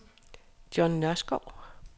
John Nørskov